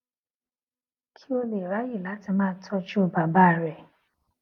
kí ó lè ráyè láti máa tójú bàbá rè